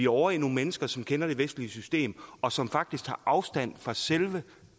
ovre i nogle mennesker som kender det vestlige system og som faktisk tager afstand fra selve